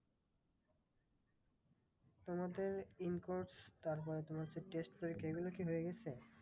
তোমাদের in course তারপরে তোমার সেই test পরীক্ষা এইগুলো কি হয়ে গেছে?